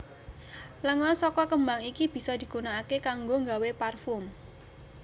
Lenga saka kembang iki bisa digunaaké kanggo nggawé parfum